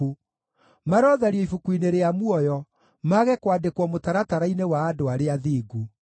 Marothario ibuku-inĩ rĩa muoyo, mage kwandĩkwo mũtaratara-inĩ wa andũ arĩa athingu.